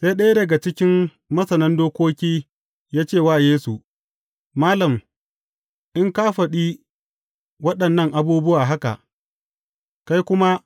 Sai ɗaya daga cikin masanan dokoki ya ce wa Yesu, Malam, in ka faɗi waɗannan abubuwa haka, kai kuma